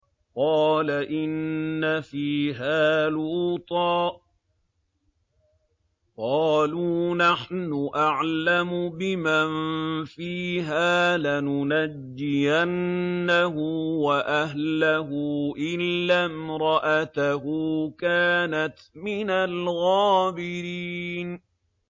قَالَ إِنَّ فِيهَا لُوطًا ۚ قَالُوا نَحْنُ أَعْلَمُ بِمَن فِيهَا ۖ لَنُنَجِّيَنَّهُ وَأَهْلَهُ إِلَّا امْرَأَتَهُ كَانَتْ مِنَ الْغَابِرِينَ